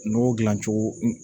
Nɔgɔ dilan cogo